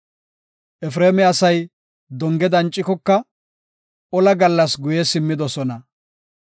Efreema asay donge dancikoka, ola gallas guye simmidosona.